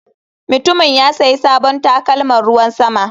Mutumin ya sayi sabon takalman ruwan sama.